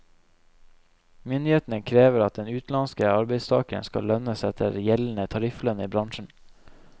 Myndighetene krever at den utenlandske arbeidstageren skal lønnes etter gjeldende tarifflønn i bransjen.